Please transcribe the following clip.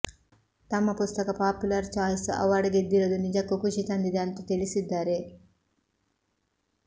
ತಮ್ಮ ಪುಸ್ತಕ popular choice award ಗೆದ್ದಿರೋದು ನಿಜಕ್ಕೂ ಖುಷಿ ತಂದಿದೆ ಅಂತಾ ತಿಳಿಸಿದ್ದಾರೆ